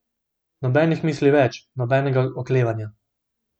Nobenih misli več, nobenega oklevanja.